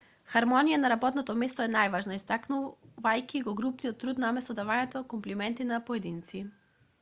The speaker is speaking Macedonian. хармонијата на работното место е најважна истакнувајќи го групниот труд наместо давање комплименти на поединци